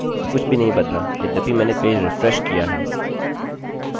और यह हमें समान उत्तर देता है कुछ भी नहीं बदला यद्यपि मैंने पेज रिफ्रेशrefresh किया है